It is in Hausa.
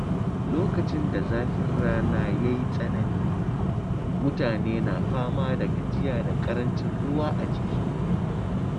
Lokacin da zafin rana ya yi tsanani, mutane na fama da gajiya da ƙarancin ruwa a jiki.